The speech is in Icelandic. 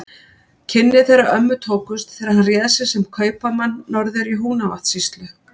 Kynni þeirra ömmu tókust þegar hann réð sig sem kaupamann norður í Húnavatnssýslu.